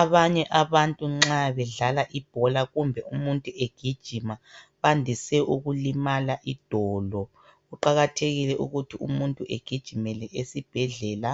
Abanye abantu nxa bedlala ibhola kumbe umuntu egijima bandise ukulimala idolo. Kuqakathekile ukuthi agijimele esibhedlela.